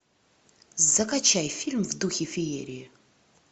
закачай фильм в духе феерии